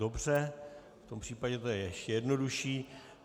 Dobře, v tom případě to je ještě jednodušší.